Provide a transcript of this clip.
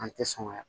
An tɛ sɔn ka